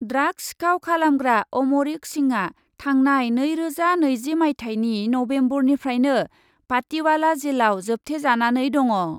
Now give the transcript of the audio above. Drugs सिखाव खालामग्रा अमरिक सिंहआ थांनाय नैरोजा नैजि माइथायनि नभेम्बरनिफ्रायनो पाटिवाला जेलाव जोबथेजानानै दङ।